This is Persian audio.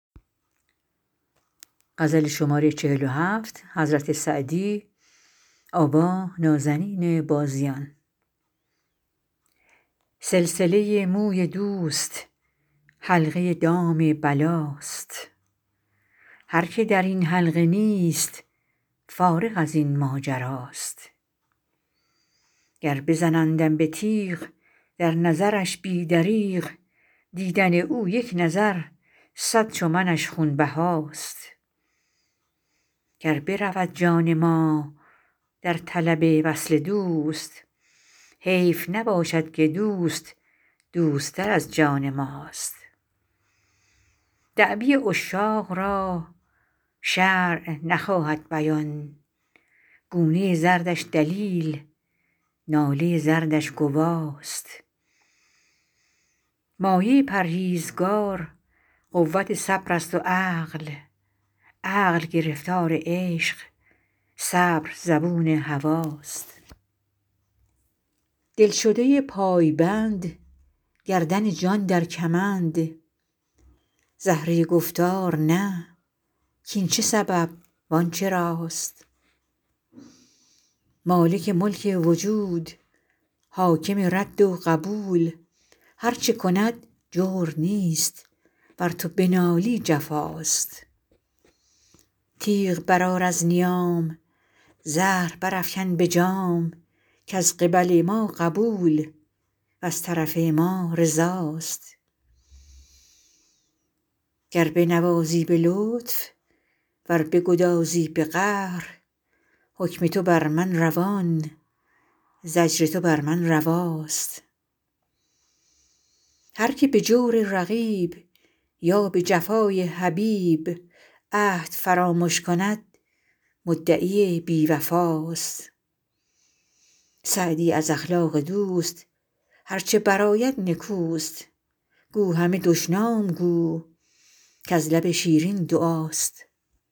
سلسله موی دوست حلقه دام بلاست هر که در این حلقه نیست فارغ از این ماجراست گر بزنندم به تیغ در نظرش بی دریغ دیدن او یک نظر صد چو منش خونبهاست گر برود جان ما در طلب وصل دوست حیف نباشد که دوست دوست تر از جان ماست دعوی عشاق را شرع نخواهد بیان گونه زردش دلیل ناله زارش گواست مایه پرهیزگار قوت صبر است و عقل عقل گرفتار عشق صبر زبون هواست دلشده پایبند گردن جان در کمند زهره گفتار نه کاین چه سبب وان چراست مالک ملک وجود حاکم رد و قبول هر چه کند جور نیست ور تو بنالی جفاست تیغ برآر از نیام زهر برافکن به جام کز قبل ما قبول وز طرف ما رضاست گر بنوازی به لطف ور بگدازی به قهر حکم تو بر من روان زجر تو بر من رواست هر که به جور رقیب یا به جفای حبیب عهد فرامش کند مدعی بی وفاست سعدی از اخلاق دوست هر چه برآید نکوست گو همه دشنام گو کز لب شیرین دعاست